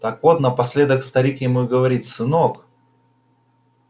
так вот напоследок старик ему и говорит сынок